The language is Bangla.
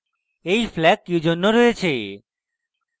এই flags কিজন্য রয়েছে